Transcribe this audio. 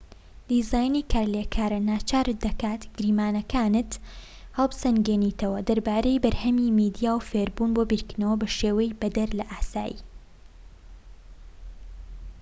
دیزاینی کارلێکار ناچارت دەکات گریمانەکانت هەڵبسەنگێنیتەوە دەربارەی بەرهەمی میدیا و فێربوون بۆ بیرکردنەوە بە شێوەی بەدەر لە ئاسایی